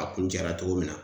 A kuncɛra cogo min na